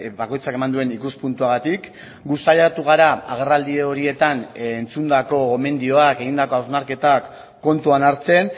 bakoitzak eman duen ikuspuntuagatik gu saiatu gara agerraldi horietan entzundako gomendioak egindako hausnarketak kontuan hartzen